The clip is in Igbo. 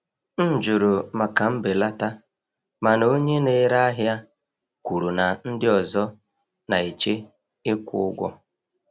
M jụrụ maka mbelata, mana onye na-ere ahịa kwuru na ndị ọzọ na-eche ịkwụ ụgwọ.